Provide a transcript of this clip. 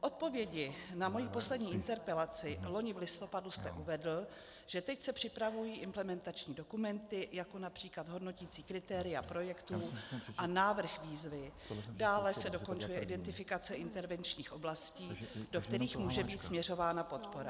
V odpovědi na moji poslední interpelaci loni v listopadu jste uvedl, že teď se připravují implementační dokumenty, jako například hodnoticí kritéria projektů a návrh výzvy, dále se dokončuje identifikace intervenčních oblastí, do kterých může být směřována podpora.